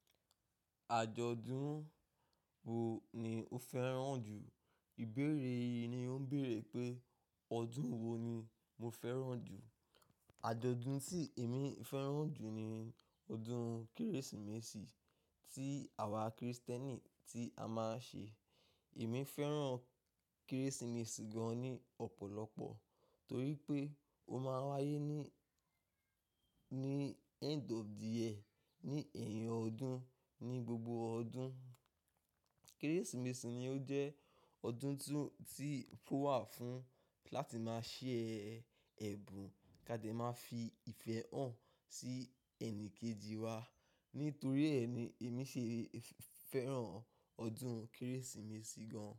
Àjọ̀dún wo ni o fẹ́ràn jù? Ìbéèrè yìí ni ó ń bèèrè pé ọdún wo ni mo fẹ́ràn jù. Àjọ̀dún tí èmi fẹ́ràn jù ni ọdún Kérésìmesì tí àwa Kristẹni tí a máa ń ṣe. Èmi fẹ́ràn Kérésìmesì gan-an ni ọ̀pọ̀lọpọ̀ torí pé ó máa ń wáyé ní, ní end of the year, ní èyin ọdún, ní gbogbo ọdún. Kérésìmesì ni ó jẹ́ ọdún tó, tí ó wà fún láti máa ṣe ẹ̀bùn kí a de máa fi ìfẹ́ hàn sí ẹni kejì wa. Nítorí ẹ ni èmi ṣe fẹ́ràn ọdún Kérésìmesì gan-an.